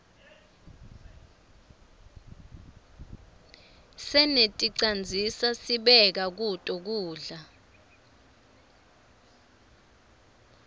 seneticandzisa sibeka kuto kudla